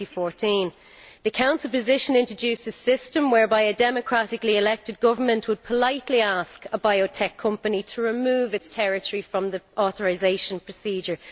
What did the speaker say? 2014. The Council position introduced a system whereby democratically elected governments would politely ask a biotech company to remove their territory from the authorisation procedure.